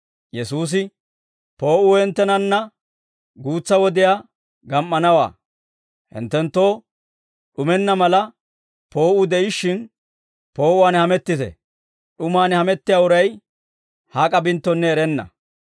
Yesuusi, «Poo'uu hinttenanna guutsa wodiyaa gam"anawaa. Hinttenttoo d'umenna mala, poo'uu de'ishshin, poo'uwaan hamettite. D'umaan hamettiyaa uray hak'a binttonne erenna.